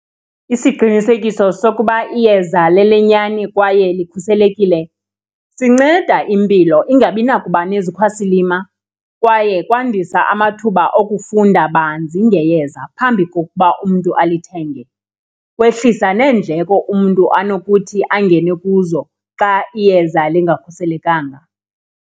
Isiqinisekiso sokuba iyeza lelenyani kwaye likhuselekile sinceda impilo ingabi nakuba nezikhwasilima kwaye kwandisa amathuba okufunda banzi ngeyeza phambi kokuba umntu alithenge. Kwehlisa neendleko umntu anokuthi angene kuzo xa iyeza lingakhuselekanga